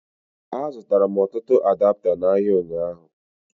A zụtara m ọtụtụ adapta n'ahịa ụnyaahụ